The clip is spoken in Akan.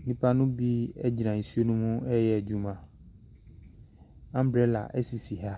Nnipa no bi gyina nsuo no mu reyɛ adwuma. Umbrella sisi ha.